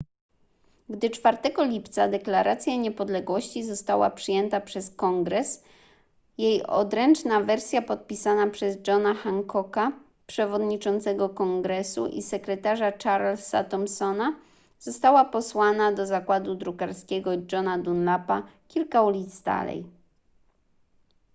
gdy 4 lipca deklaracja niepodległości została przyjęta przez kongres jej odręczna wersja podpisana przez johna hancocka przewodniczącego kongresu i sekretarza charlesa thomsona została posłana do zakładu drukarskiego johna dunlapa kilka ulic dalej